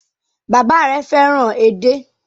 Bàbá rẹ fẹ́ràn edé.